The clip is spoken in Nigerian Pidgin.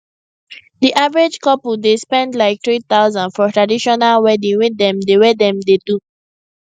di average couple dey spend like 3000 for traditional wedding wey dem dey wey dem dey do